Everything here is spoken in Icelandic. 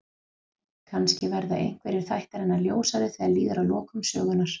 Kannski verða einhverjir þættir hennar ljósari þegar líður að lokum sögunnar.